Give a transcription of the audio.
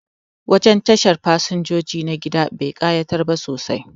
Wajen tashin fasinjoji na gida ba kayatar sosai ba